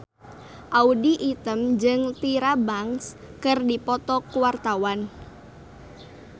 Audy Item jeung Tyra Banks keur dipoto ku wartawan